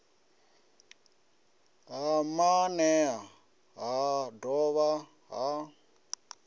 ya maanea ha dovha ha